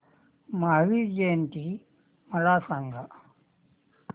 महावीर जयंती मला सांगा